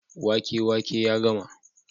wake wake ya gama